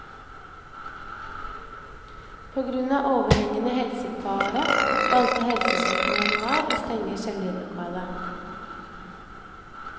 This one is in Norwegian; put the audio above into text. På grunn av overhengende helsefare valgte helsesjefen i januar å stenge kjellerlokalet.